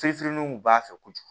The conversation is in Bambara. Fee feriw kun b'a fɛ kojugu